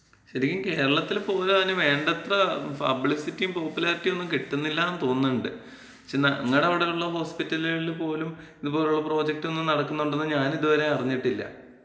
ശരിക്കും കേരളത്തില് പൊതുവെ അതിന് വേണ്ടത്ര പബ്ലിസിറ്റിം പോപ്പുലാരിറ്റീംന്നും കിട്ടുന്നില്ലാന്ന് തോന്നുന്ന്ണ്ട്. നങ്ങടെ അവ്ടള്ള ഹോസ്പിറ്റലികളില് പോലും ഇതുപോലുള്ള പ്രോജക്ടൊന്നും നടക്കുന്നുണ്ടെന്ന് ഞാനിതുവരെ അറിഞ്ഞിട്ടില്ല.